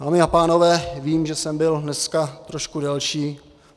Dámy a pánové, vím, že jsem byl dneska trošku delší.